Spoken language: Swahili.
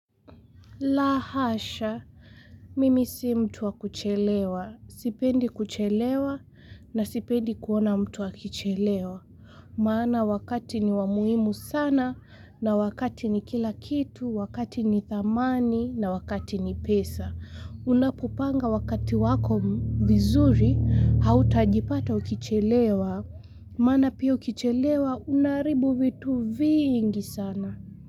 La hasha, mimi si mtu wa kuchelewa. Sipendi kuchelewa na sipendi kuona mtu akichelewa. Maana wakati ni wa muhimu sana na wakati ni kila kitu, wakati ni thamani na wakati ni pesa. Unapopanga wakati wako vizuri, hautajipata ukichelewa. Maana pia ukichelewa, unaharibu vitu vingi sana.